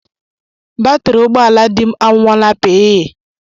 Batri ụgbọala dị m anwụọla pịịî.